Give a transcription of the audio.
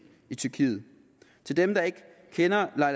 i tyrkiet til dem der ikke kender